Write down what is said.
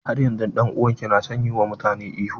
Har yanzun dan'uwan ki na son yi wa mutane ihu?